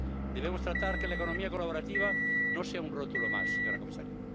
Debemos tratar de que la economía colaborativa no sea un rótulo más, señora comisaria.